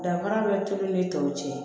Danfara bɛ tulu ni tɔw cɛ